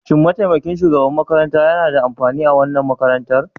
Shin mataimakin shugaban makarantar yana da amfani a wannan makarantar.